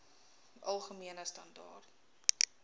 algemene standaar